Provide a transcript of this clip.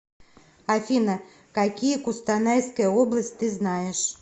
афина какие кустанайская область ты знаешь